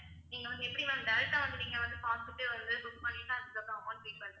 நீங்க வந்து எப்படி வந்து direct அ வந்து நீங்க வந்து பார்த்துட்டு வந்து book பண்ணீட்டு அதுக்கப்பறம் amount pay பண்~